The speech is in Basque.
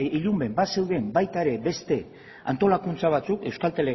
ilunben bazeuden baita ere beste antolakuntza batzuk euskaltelek